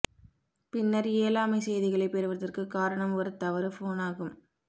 பின்னர் இயலாமை செய்திகளைப் பெறுவதற்கு காரணம் ஒரு தவறு ஃபோனாகும்